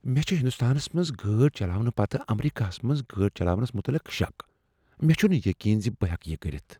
مےٚ چھ ہندوستانس منٛز گٲڑۍ چلاونہٕ پتہٕ امریکہس منٛز گٲڑۍ چلاونس متعلق شک۔ مےٚ چھنہٕ یقین زِ بہٕ ہیکہٕ یِہ کٔرتھ۔